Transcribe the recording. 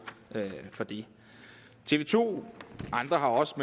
for det tv to andre har også